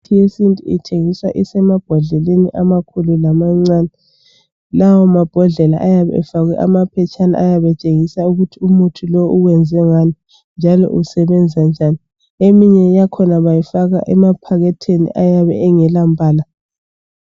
Imithi yesintu ithengiswa isemabhodleleni amakhulu lamacane, lawa mabhodlela ayabe efakwe amaphetshana ayabetshengisa ukuthi umithi lo uwenzwe ngani njalo usebenza njani. Eyinye yakhona bayifaka emaphakathini eyabe engelampala.